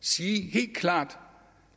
sige helt klart at